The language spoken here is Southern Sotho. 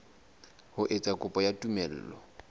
ho etsa kopo ya tumello